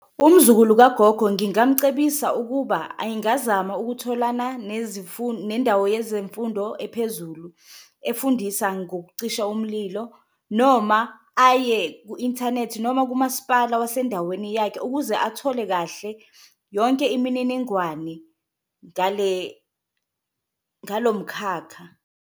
Umzukulu kagogo ngingamcebisa ukuba engazama ukutholana nendawo yezemfundo ephezulu efundisa ngokucisha umlilo, noma aye ku-inthanethi noma kumaspala wasendaweni yakhe ukuze athole kahle yonke imininingwane ngale, ngalo mkhakha.